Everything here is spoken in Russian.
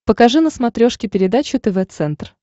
покажи на смотрешке передачу тв центр